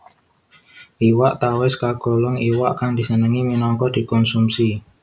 Iwak tawès kagolong iwak kang disenengi minangka dikonsumsi